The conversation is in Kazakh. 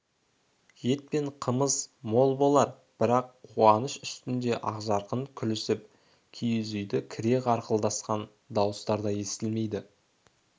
ет пен қымыз мол болар бірақ қуаныш үстінде ақжарқын күлісіп киіз үйді кере қарқылдасқан дауыстар да естілмейді